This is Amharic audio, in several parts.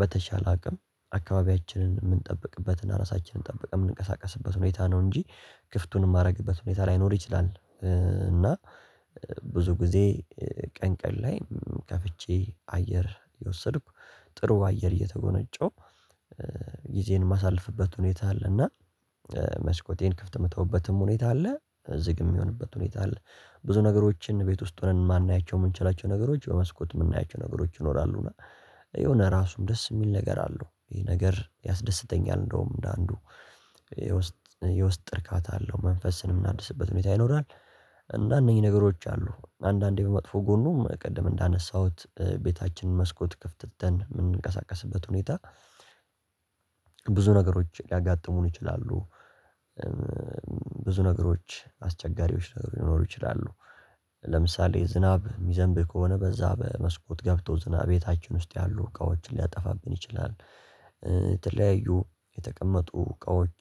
በተቻለ አቅም አካባቢያችንን የምንጠብቅበት እና ራሳችንን ጠብቀን የምንቀሳቀስበት ሁኔታ ነው። እንጂ ክፍቱን የማደርግበት ሁኔታ ላይኖር ይችላል። እና ብዙ ጊዜ ቀን ቀን ላይ ከፍቼ አየር የወሰድኩ ጥሩ አየር እየተጎነጨው ጊዜን የማሳልፍበት ሁኔታ አለ። እና መስኮቴን ክፍት የምተውበትም ሁኔታ አለ ዝግ የሚሆንበት ሁኔታ አለ። ብዙ ነገሮችን ቤት ውስጥ ሆነን ማናያቸው የምንችላቸው ነገሮች በመስኮት የምናያቸው ነገሮች ይኖራሉና። የሆነ ራሱም ደስ የሚል ነገር አለው ይሄ ነገር ያስደስተኛል እንደውም እንደ አንዱ የውስጥ የውስጥ እርካታ አለው መንፈስን የምናድስበት ሁኔታ ይኖራል። እና እነኚህ ነገሮች አሉ አንዳንዴ በመጥፎ ጎኑ ቅድም እንዳነሳሁት ቤታችንን መስኮት ክፍት ትተን የምንቀሳቀስበት ሁኔታ። ብዙ ነገሮች ሊያጋጥሙን ይችላሉ። ብዙ ነገሮች አስቸጋሪዎች ነገሩ ሊኖሩ ይችላሉ። ለምሳሌ ዝናብ የሚዘንብ ከሆነ በዛ በመስኮት ገብተው ዝናብ ቤታችን ውስጥ ያሉ እቃዎችን ሊያጠፋብን ይችላል። የተለያዩ የተቀመጡ እቃዎች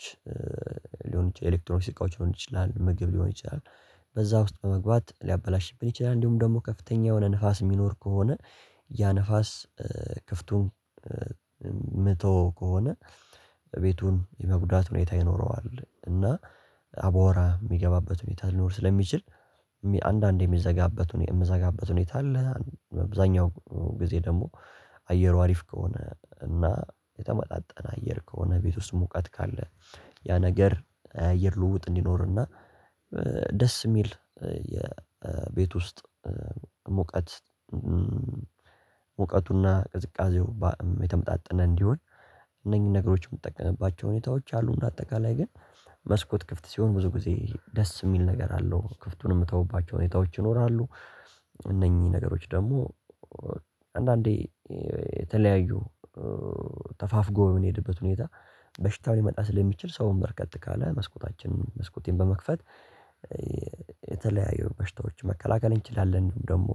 ሊሆን ይችላል ኤሌክትሮኒክስ እቃዎች ሊሆን ይችላል ምግብ ሊሆን ይችላል። በዛ ውስጥ በመግባት ሊያበላሽብን ይችላል። እንዲሁም ደግሞ ከፍተኛ የሆነ ንፋስ የሚኖር ከሆነ ያ ንፋስ ክፍቱም መቶ ከሆነ ቤቱን የመጉዳት ሁኔታ ይኖረዋል። እና አባወራ የሚገባበት ሁኔታ ሊኖር ስለሚችል አንዳንዴ የሚዘጋበት ሁኔታ አለ። በብዛኛው ጊዜ ደግሞ አየሩ አሪፍ ከሆነ እና የተመጣጠነ አየር ከሆነ ቤት ውስጥ ሙቀት ካለ ያ ነገር አየር ልውውጥ እንዲኖርና። ደስ የሚል የቤት ውስጥ ሙቀት ሙቀቱና ቅዝቃዜው የተመጣጠነ እንዲሆን እነኚህን ነገሮች የምጠቀምባቸው ሁኔታዎች አሉ። በአጠቃላይ ግን መስኮት ክፍት ሲሆን ብዙ ጊዜ ደስ የሚል ነገር አለው ክፍቱን የምተውባቸው ሁኔታዎች ይኖራሉ። እነኚህ ነገሮች ደግሞ አንዳንዴ የተለያዩ ተፋፍጎ የምንሄድበት ሁኔታ በሽታው ሊመጣ ስለሚችል ሰውን በርከት ካለ መስኮታችን መስኮቴን በመክፈት። የተለያዩ በሽታዎችን መከላከል እንችላለን። ደግሞ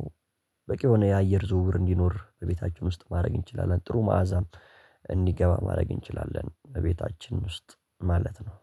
በቂ የሆነ የአየር ዝውውር እንዲኖር በቤታችሁ ውስጥ ማድረግ እንችላለን። ጥሩ መዓዛም እንዲገባ ማድረግ እንችላለን። በቤታችን ውስጥ ማለት ነው።